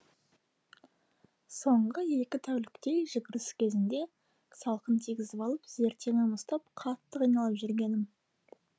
соңғы екі тәуліктей жүгіріс кезінде салқын тигізіп алып зертеңім ұстап қатты қиналып жүргенмін